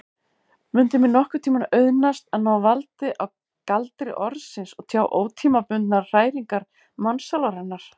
Mundi mér nokkurntíma auðnast að ná valdi á galdri orðsins og tjá ótímabundnar hræringar mannssálarinnar?